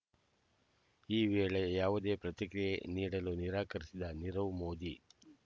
ಈ ವೇಳೆ ಯಾವುದೇ ಪ್ರತಿಕ್ರಿಯೆ ನೀಡಲು ನಿರಾಕರಿಸಿದ ನೀರವ್ ಮೋದಿ